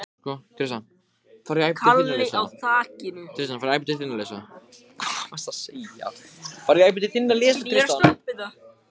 Hann flýtir sér að stinga myndinni í vasann.